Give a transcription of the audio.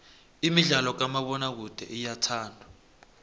imidlalo kamabonakude iyathandwa